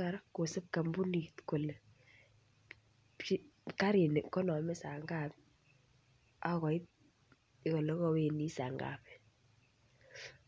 kora koosib kampunit kole karini kanome saa ngapi akoit olekowendi saa ngapi.